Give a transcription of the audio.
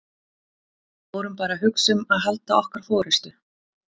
Við vorum bara að hugsa um að halda okkar forystu.